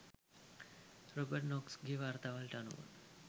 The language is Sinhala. රොබට් නොක්ස්ගේ වාර්තාවලට අනුව